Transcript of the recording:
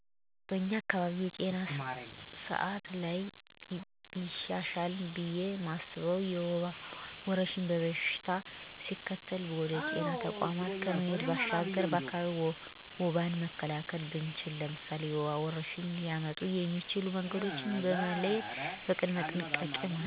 በኛ አካባቢ የጤና ስአት ላይ ቢሻሻል ብየ ማስበው የወባ ወረርሽኝ በሽታው ሲከሰት ወደ ጤና ተቋማት ከመሄድ ባሻገር በአካቢያችን ወባን መካላከል ብንችል። ለምሳሌ፦ የወባ ወረርሽኝ ሊያመጡ የሚችሉ መንገዶችን በመለየት ቅድመ ጥንቃቄ ቢደረግ ባይ ነኝ። ማህበረሰቡ አካባቢውን በማፅዳት የታቆሩ ውሀ ወችን በማፋሰስ የአካባቢ ንፅህናን መጠበቅ። በአካባቢያችን የጤና ስርአት በደንብ ሲሰራ የነበረበት የልጆች የተለያሉ ክትባቶችን በአካቢው በመስጠት የልጆችን የጤና አጠባበቅ ትልቅ ሚና አለው። የከሸፈ የጤና ስርአት የምለው ደንገሀኛ በሽታወች እንዴ ኮረና ያሉ በሽታወች ላይ ህብረተሰቡ የጥንቃቄ ጎደለቶች አሳይቷል። እናም አጣዳፊናጊዜ ማይሰጡ በሽታወች ላይ ማህበረሰቡ ጥንቃቄ ማድረግ አለበት።